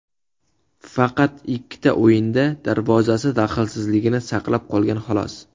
Faqat ikkita o‘yinda darvozasi daxlsizligini saqlab qolgan, xolos.